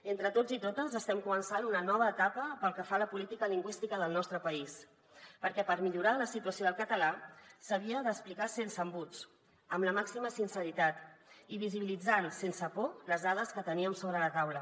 entre tots i totes estem començant una nova etapa pel que fa a la política lingüística del nostre país perquè per millorar la situació del català s’havia d’explicar sense embuts amb la màxima sinceritat i visibilitzant sense por les dades que teníem sobre la taula